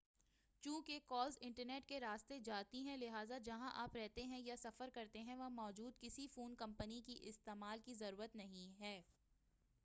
چونکہ calls internet کے راستے جاتی ہیں لہٰذا جہاں آپ رہتے ہیں یا سفر کرتے ہیں وہاں موجود کسی فون کمپنی کے استعمال کی ضرورت نہیں ہے